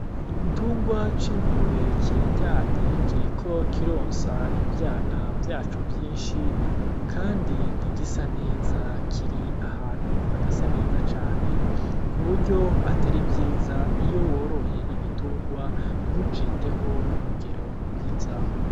Igitungwa c'ingurube kiraryamye kiriko kironsa ivyana vyaco vyinshi, kandi ntigisa neza, kiri ahantu hadasa neza cane ku buryo atari vyiza iyo woroye igitungwa ntuciteho ku rugero rwiza.